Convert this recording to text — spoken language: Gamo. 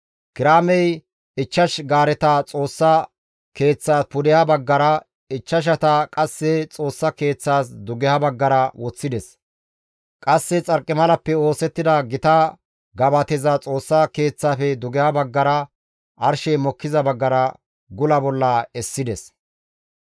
Kiraamey ichchash gaareta Xoossa Keeththaas pudeha baggara, ichchashata qasse Xoossa Keeththaas dugeha baggara woththides; qasse xarqimalappe oosettida gita gabateza Xoossa Keeththaafe dugeha baggara arshey mokkiza baggara gula bolla essides.